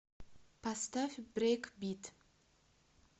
поставь брейкбит